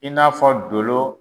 I n'a fɔ dolo